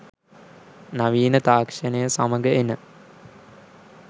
නවීන තාක්‍ෂණය සමඟ එන